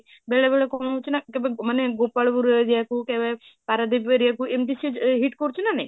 ବେଳେ ବେଳେ କଣ ହାଉଛି ନା କେବେ ମାନେ ଗୋପାଳପୁର area କୁ କେବେ ପାରାଦୀପ area କୁ ଏମିତି ସେ hit କରୁଛି ନା ନାହିଁ?